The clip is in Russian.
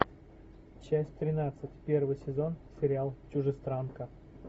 часть тринадцать первый сезон сериал чужестранка